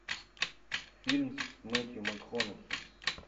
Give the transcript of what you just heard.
фильм с мэттью макконахи